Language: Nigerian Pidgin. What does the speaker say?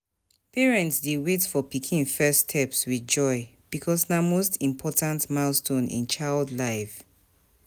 Parents dey wait for pikin first steps with joy because na most important milestone in child life.